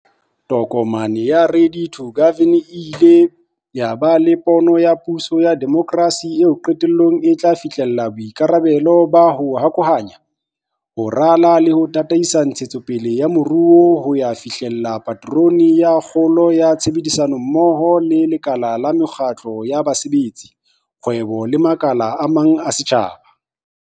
Tokomane ya 'Ready to Govern' e ile ya ba le pono ya puso ya demokrasi eo qetellong e tla fihlella boikarabelo ba 'ho hokahanya, ho rala le ho tataisa ntshetsopele ya moruo ho ya fihlella paterone ya kgolo ka tshebedisano mmoho le lekala la mekgatlo ya basebetsi, kgwebo le makala a mang a setjhaba.